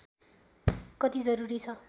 कति जरूरी छ